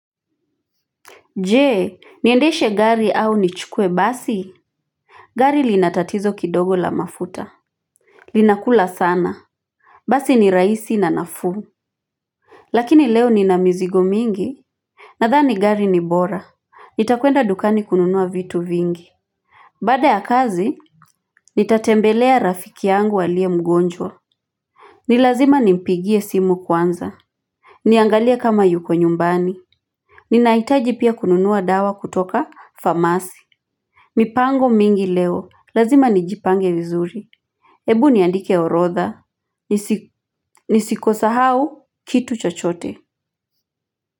Jee, niendeshe gari au nichukue basi? Gari linatatizo kidogo la mafuta. Linakula sana. Basi ni raisi na nafuu. Lakini leo ni na mzigo mingi. Nadhani gari ni bora. Nitakuenda dukani kununua vitu vingi. Bada ya kazi, nitatembelea rafiki yangu aliye mgonjwa. Nilazima nimpigie simu kwanza. Niangalie kama yuko nyumbani. Ninaitaji pia kununua dawa kutoka famasi. Mipango mingi leo, lazima nijipange vizuri Ebu niandike orotha, nisikosa hau kitu chochote.